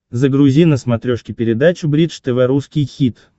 загрузи на смотрешке передачу бридж тв русский хит